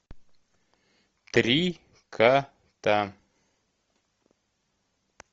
три кота